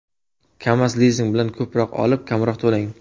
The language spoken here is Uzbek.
Kamaz-lizing bilan ko‘proq olib, kamroq to‘lang.